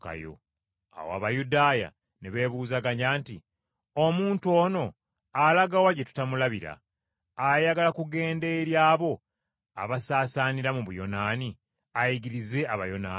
Awo Abayudaaya ne beebuuzaganya nti, “Omuntu ono alaga wa gye tutalimulabira? Ayagala kugenda eri abo abaasaasaanira mu Buyonaani, ayigirize Abayonaani?